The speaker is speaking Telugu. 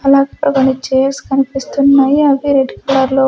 అలాగే ఇక్కడ కొన్ని చెర్స్ కనిపిస్తున్నాయి అవి రెడ్డి కలర్లో .